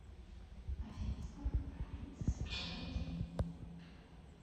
афина сколько продлится световой день